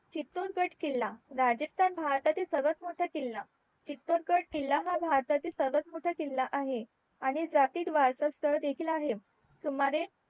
चितोरगड किला राजस्थान भारतातील सर्वात मोठा किला चितोरगड किला हा भातातील सर्वात मोठा किला आहे आणि जातीयवाद चा स्थळ देखील आहे